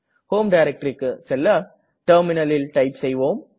home directoryக்கு செல்ல terminalல் டைப் செய்வோம்